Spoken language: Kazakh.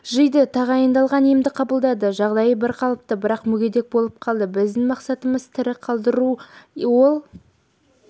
жиды тағайындалған емді қабылдады жағдайы бірқалыпты бірақ мүгедек болып қалды біздің мақсатымыз тірі қалдыру ол